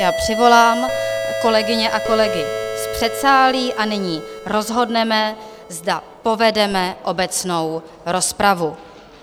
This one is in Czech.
Já přivolám kolegyně a kolegy z předsálí a nyní rozhodneme, zda povedeme obecnou rozpravu.